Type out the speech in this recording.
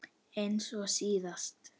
Eins og síðast?